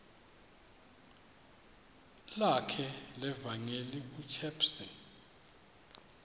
lakhe levangeli ushepstone